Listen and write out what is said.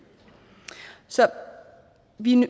så vi